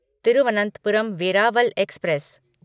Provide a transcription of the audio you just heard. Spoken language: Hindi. तिरुवनंतपुरम वेरावल एक्सप्रेस